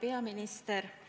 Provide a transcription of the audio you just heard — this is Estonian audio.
Hea peaminister!